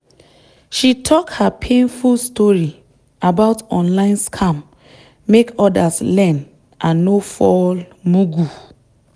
she talk her painful story about online scam make others learn and no fall mugu.